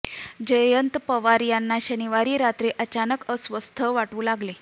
जयंत पवार यांना शनिवारी रात्री अचानक अस्वस्थ वाटू लागले